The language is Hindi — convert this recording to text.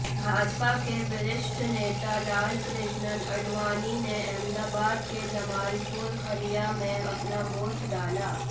भाजपा के वरिष्ठ नेता लालकृष्ण अाडवाणी ने अहमदाबाद के जमालपुर खड़िया में अपना वोट डाला